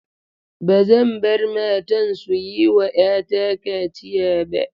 Ba zan bar matan su yi wa 'yata kaciya ba.